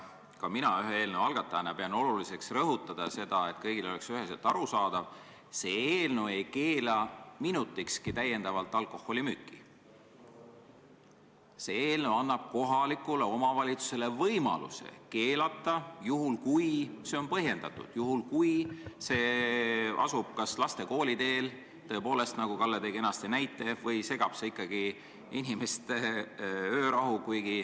Ka mina eelnõu ühe algatajana pean oluliseks rõhutada, et kõigile oleks üheselt arusaadav: see eelnõu ei keela täiendavalt alkoholimüüki minutikski, see eelnõu annab kohalikule omavalitsusele võimaluse seda keelata, juhul kui see on põhjendatud, juhul kui see müügipaik asub kas laste kooliteel, nagu Kalle kenasti näite tõi, või segab see müük ikkagi inimeste öörahu.